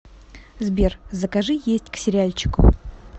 сбер закажи есть к сериальчику